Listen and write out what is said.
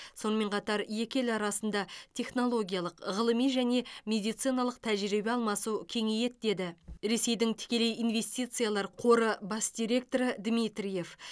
сонымен қатар екі ел арасында технологиялық ғылыми және медициналық тәжірибе алмасу кеңейеді деді ресейдің тікелей инвестициялар қоры бас директоры дмитриев